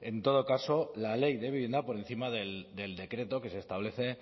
en todo caso la ley de vivienda por encima del decreto que se establece